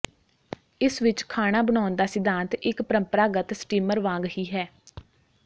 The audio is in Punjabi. ਇਸ ਵਿੱਚ ਖਾਣਾ ਬਣਾਉਣ ਦਾ ਸਿਧਾਂਤ ਇੱਕ ਪ੍ਰੰਪਰਾਗਤ ਸਟੀਮਰ ਵਾਂਗ ਹੀ ਹੈ